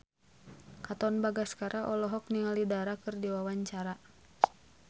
Katon Bagaskara olohok ningali Dara keur diwawancara